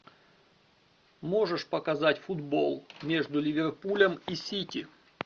можешь показать футбол между ливерпулем и сити